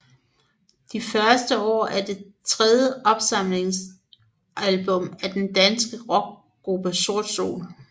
De første år er det tredje opsamlingsalbum af den danske rockgruppe Sort Sol